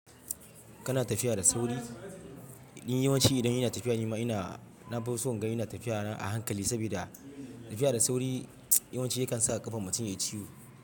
Kana tafiya da sauri? Ni yawanci idan ina tafiya, nima ina, na fi son gan ina tafiya a hankali saboda tafiya da sauri yawanci yakan sa ƙafan mutum ya yi ciwo.